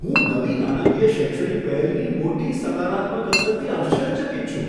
હું નવી નાણાકીય શૈક્ષણિક પહેલની મોટી સકારાત્મક અસરથી આશ્ચર્યચકિત છું.